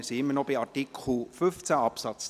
Wir sind noch immer bei Artikel 15 Absatz